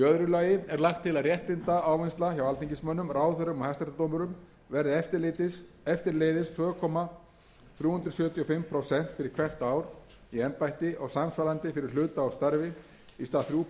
lagi er lagt til að réttindaávinnsla hjá alþingismönnum ráðherrum og hæstaréttardómurum verði eftirleiðis tvö komma þrjú sjö fimm prósent fyrir hvert ár í embætti og samsvarandi fyrir hluta úr ári í stað þriggja prósenta